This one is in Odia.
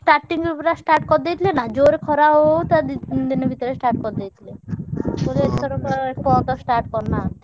Starting ରୁ ପୁରା start କରିଦେଇଥିଲେ ନା ଜୋରେ ଖରା ହଉ ହଉ ତା ଦି ତିନି ଦିନି ଭିତରେ start କରିଦେଇଥିଲେ। ବୋଧେ ଏଥରକ ଏପର୍ଯ୍ୟନ୍ତ start କରିନାହାନ୍ତି।